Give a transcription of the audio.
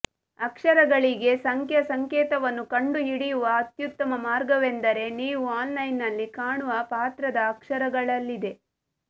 ಅಕ್ಷರಗಳಿಗೆ ಸಂಖ್ಯಾ ಸಂಕೇತವನ್ನು ಕಂಡುಹಿಡಿಯುವ ಅತ್ಯುತ್ತಮ ಮಾರ್ಗವೆಂದರೆ ನೀವು ಆನ್ಲೈನ್ನಲ್ಲಿ ಕಾಣುವ ಪಾತ್ರದ ಅಕ್ಷರಗಳಲ್ಲಿದೆ